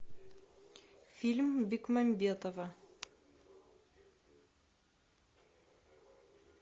фильм бекмамбетова